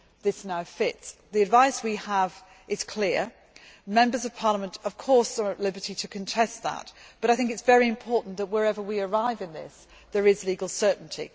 this now fits. The advice we have is clear. Members of Parliament of course are at liberty to contest that, but I think it is very important that wherever we arrive in this, there is legal certainty.